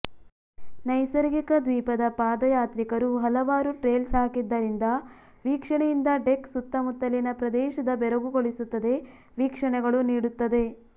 ನೈಸರ್ಗಿಕ ದ್ವೀಪದ ಪಾದಯಾತ್ರಿಕರು ಹಲವಾರು ಟ್ರೇಲ್ಸ್ ಹಾಕಿದ್ದರಿಂದ ವೀಕ್ಷಣೆಯಿಂದ ಡೆಕ್ ಸುತ್ತಮುತ್ತಲಿನ ಪ್ರದೇಶದ ಬೆರಗುಗೊಳಿಸುತ್ತದೆ ವೀಕ್ಷಣೆಗಳು ನೀಡುತ್ತದೆ